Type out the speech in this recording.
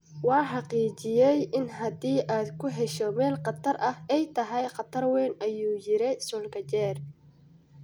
"Waa xaqiijiyay in haddii aad ku hesho meel khatar ah, ay tahay khatar weyn," ayuu yidhi Solskjaer.